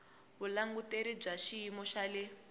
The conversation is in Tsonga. vulanguteri bya xiyimo xa le